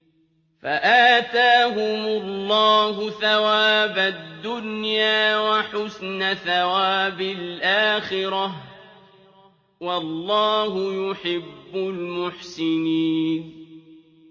فَآتَاهُمُ اللَّهُ ثَوَابَ الدُّنْيَا وَحُسْنَ ثَوَابِ الْآخِرَةِ ۗ وَاللَّهُ يُحِبُّ الْمُحْسِنِينَ